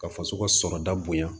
Ka faso ka sɔrɔta bonya